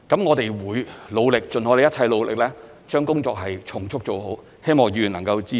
我們會努力，盡我們一切努力，將工作從速做好，希望議員能夠支持。